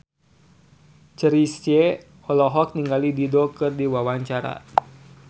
Chrisye olohok ningali Dido keur diwawancara